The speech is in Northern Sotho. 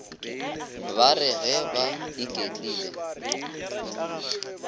ba re ge ba iketlile